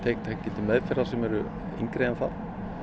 til meðferðar sem eru yngri en það